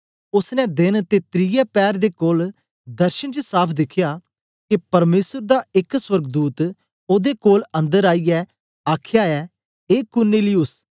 ओसने देन ते त्रिये पैर दे कोल दर्शन च साफ़ दिखया के परमेसर दा एक सोर्गदूत ओदे कोल अन्दर आईयै आखया ऐ ए कुरनेलियुस